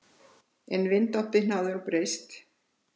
Ef vindáttin hefði nú breyst.